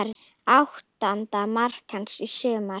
Áttunda mark hans í sumar.